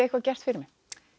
eitthvað gert fyrir mig